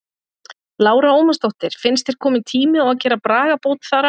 Lára Ómarsdóttir: Finnst þér kominn tími á að gera bragabót þar á?